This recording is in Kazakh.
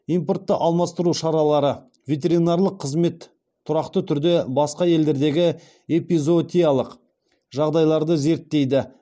импортты алмастыру шаралары ветеринарлық қызмет тұрақты түрде басқа елдердегі эпизоотиялық жағдайларды зерттейді